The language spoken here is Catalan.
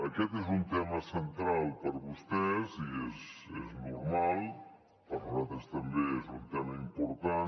aquest és un tema central per a vostès i és normal per nosaltres també és un tema important